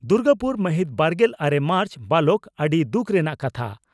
ᱫᱩᱨᱜᱟᱯᱩᱨ ᱢᱟᱦᱤᱛ ᱵᱟᱨᱜᱮᱞ ᱟᱨᱮ ᱢᱟᱨᱪ (ᱵᱟᱞᱚᱠ) ᱺ ᱟᱹᱰᱤ ᱫᱩᱠ ᱨᱮᱱᱟᱜ ᱠᱟᱛᱷᱟ